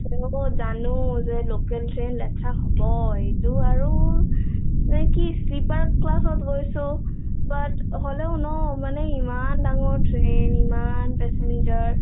হব জানো যে local train লেতেৰা হবই এইটো আৰু নে কি sleeper class ত গৈছো but হলেও ন মানে ইমান ডাঙৰ train ইমান passenger ।